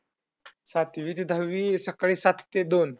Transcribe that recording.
सातवी ते दहावी सकाळी सात ते दोन.